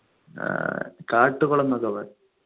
ആഹ് കാട്ടുകുളം ന്നൊക്കെ പറയും